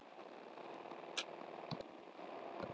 Hyldýpi undir, jöklar, ský, snjór í fjöllum yfir.